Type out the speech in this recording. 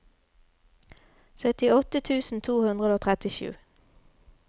syttiåtte tusen to hundre og trettisju